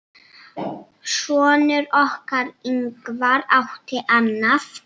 Sonur okkar, Ingvar, átti annað.